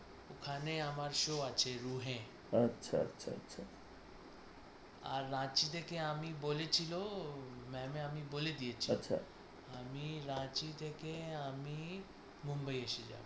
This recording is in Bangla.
ওখানে আমার show আছে রুহে, আচ্ছা আচ্ছা রাঁচি থেকে আমি বলেছিল মানে আমি বলে দিয়েছি। আমি রাঁচি থেকে আমি মুম্বাই এসে যাব ।